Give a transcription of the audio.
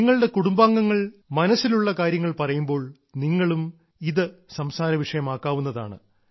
നിങ്ങളുടെ കുടുംബാംഗങ്ങൾ മനസ്സിലുള്ള കാര്യങ്ങൾ പറയുമ്പോൾ നിങ്ങളും ഇത് സംസാര വിഷയമാക്കാവുന്നതാണ്